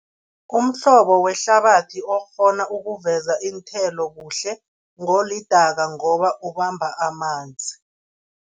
Umhlobo wehlabathi okghona ukuveza iinthelo kuhle, ngolidaka ngoba ubamba amanzi.